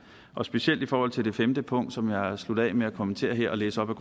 og specielt i forhold til det femte punkt som jeg sluttede af med at kommentere her og læse op af